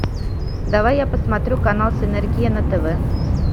давай я посмотрю канал синергия на тв